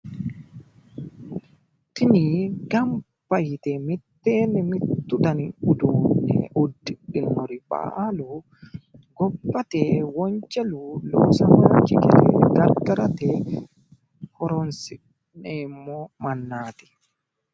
tini gamba yite miteenni mitu dani ududhinori baalu gobbate wonajalu kalaqamannokki gede gargarate horonsi'neemmo mannaati